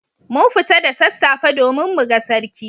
Mun fita da sassafe domin muga Sarki.